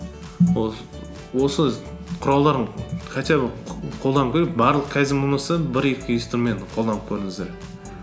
ол осы құралдарын хотя бы қолданып көрейік барлық кайдзен болмаса бір екі инструментін қолданып көріңіздер